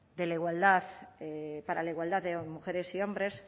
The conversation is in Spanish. para la igualdad de mujeres y hombres